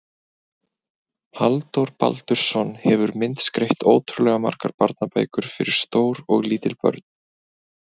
Halldór Baldursson hefur myndskreytt ótrúlega margar barnabækur fyrir stór og lítil börn.